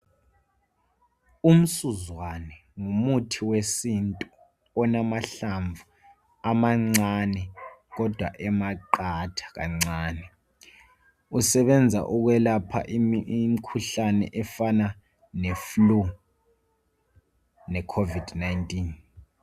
Umsuzwane ngumuthi wesintu olamahlamvu amancane kodwa emaqatha kancane Usebenza ukwelapha imikhuhlane efana le"Flu",le covid-19.